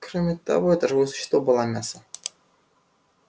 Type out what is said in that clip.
кроме того это живое существо было мясо